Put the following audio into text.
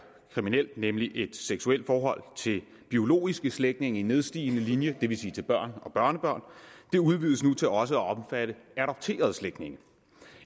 kriminelt nemlig et seksuelt forhold til biologiske slægtninge i nedstigende linje det vil sige til børn og børnebørn til også at omfatte adopterede slægtninge